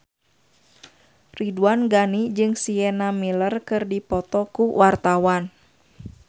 Ridwan Ghani jeung Sienna Miller keur dipoto ku wartawan